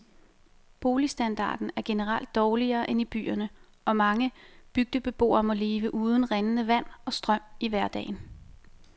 Boligstandarden er generelt dårligere end i byerne, og mange bygdebeboere må leve uden rindende vand og strøm i hverdagen.